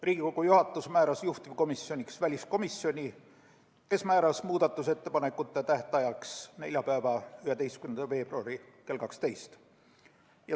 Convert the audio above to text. Riigikogu juhatus määras juhtivkomisjoniks väliskomisjoni, kes määras muudatusettepanekute esitamise tähtajaks neljapäeva, 11. veebruari kell 12.